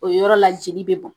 O yɔrɔ la jeli be bɔn